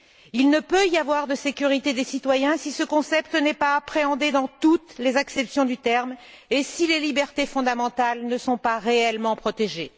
Il ne peut y avoir de sécurité des citoyens si ce concept n'est pas appréhendé dans toutes les acceptions du terme et si les libertés fondamentales ne sont pas réellement protégées.